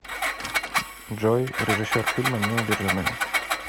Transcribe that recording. джой режиссер фильма неудержимые